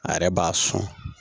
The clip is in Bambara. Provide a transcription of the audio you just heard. A yɛrɛ b'a sɔn